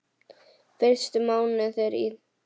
Fyrstu mánuðir í